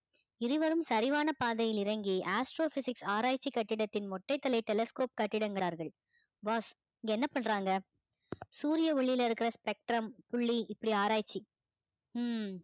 இருவரும் சரிவான பாதையில் இறங்கி astrophysics ஆராய்ச்சி கட்டிடத்தின் கட்டிடங்கிறார்கள் boss இங்க என்ன பண்றங்க சூரிய ஒளியில இருக்கிற spectrum புள்ளி இப்படி ஆராய்ச்சி உம்